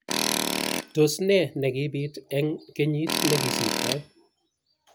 Tos ne nekipit eng kenyit nekosirtoi?